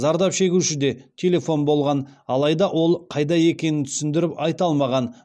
зардап шегушіде телефон болған алайда ол қайда екенін түсіндіріп айта алмаған